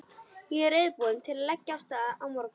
Ég er reiðubúinn til að leggja af stað á morgun.